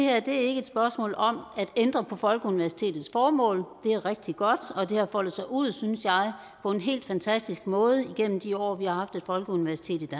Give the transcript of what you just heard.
er et spørgsmål om at ændre på folkeuniversitetets formål det er rigtig godt og det har foldet sig ud synes jeg på en helt fantastisk måde igennem de år vi har haft et folkeuniversitet